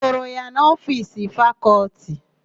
Ị hụrụ ya n'ofiisi Fakọlti?